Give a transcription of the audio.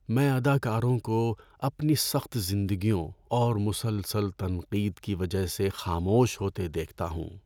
میں اداکاروں کو اپنی سخت زندگیوں اور مسلسل تنقید کی وجہ سے خاموش ہوتے دیکھتا ہوں۔